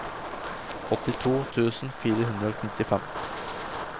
åttito tusen fire hundre og nittifem